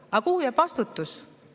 Aga kuhu jääb vastutus?